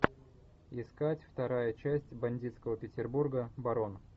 искать вторая часть бандитского петербурга барон